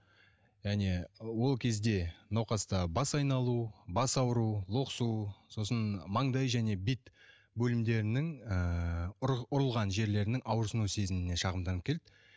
және ол кезде науқаста бас айналу бас ауру лоқсу сосын маңдай және бет бөлімдерінің ыыы ұрылған жерлерінің ауырсыну сезіміне шағымданып келді